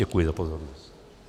Děkuji za pozornost.